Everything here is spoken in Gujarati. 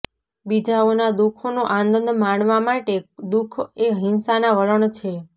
બીજાઓના દુઃખોનો આનંદ માણવા માટે દુઃખ એ હિંસાના વલણ છે